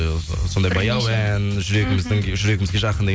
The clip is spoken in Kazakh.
і сондай баяу ән жүрегіміздің жүрегімізге жақын деген